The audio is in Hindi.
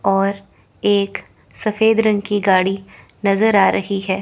और एक सफेद रंग की गाड़ी नजर आ रही है।